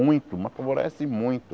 Muito, mas favorece muito.